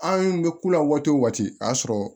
Anw bɛ ku la waati o waati a y'a sɔrɔ